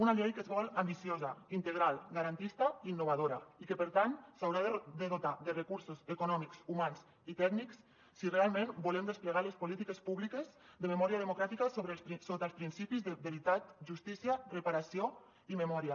una llei que es vol ambiciosa integral garantista i innovadora i que per tant s’haurà de dotar de recursos econòmics humans i tècnics si realment volem desplegar les polítiques públiques de memòria democràtica sota els principis de veritat justícia reparació i memòria